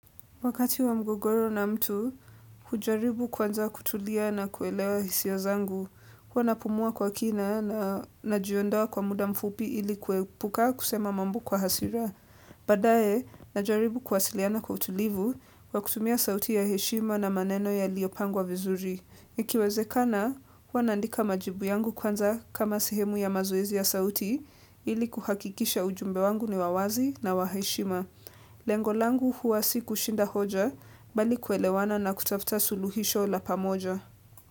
Wakati wa mgogoro na mtu, hujaribu kwanza kutulia na kuelewa hisia zangu. Huwa napumua kwa kina na najiondoa kwa muda mfupi ili kuepuka kusema mambo kwa hasira. Badaye, najaribu kwasiliana kwa utulivu kwa kutumia sauti ya heshima na maneno yaliyopangwa vizuri. Ikiwezekana, huwa naandika majibu yangu kwanza kama sihemu ya mazoezi ya sauti ili kuhakikisha ujumbe wangu ni wa wazi na wa heshima. Lengo langu huwa si kushinda hoja bali kuelewana na kutafuta suluhisho la pamoja.